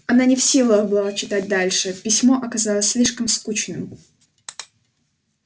она не в силах была читать дальше письмо оказалось слишком скучным